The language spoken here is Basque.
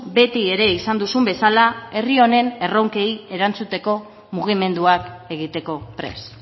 beti ere izan duzun bezala herri honen erronkei erantzuteko mugimenduak egiteko prest